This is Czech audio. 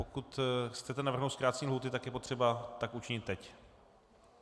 Pokud chcete navrhnout zkrácení lhůty, tak je potřeba tak učinit teď.